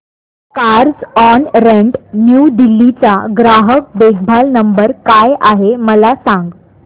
Carzonrent New Delhi चा ग्राहक देखभाल नंबर काय आहे मला सांग